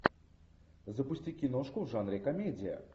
запусти киношку в жанре комедия